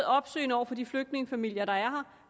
opsøgende over for de flygtningefamilier der er her